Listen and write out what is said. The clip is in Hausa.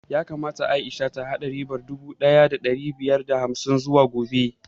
Yakamata Aisha ta haɗa ribar naira dubu ɗaya da ɗari biyar da hamsin zuwa gobe